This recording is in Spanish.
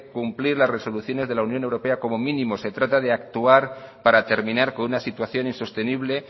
cumplir las resoluciones de la unión europea como mínimo se trata de actuar para terminar con una situación insostenible